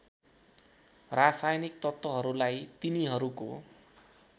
रासायनिक तत्त्वहरूलाई तिनीहरूको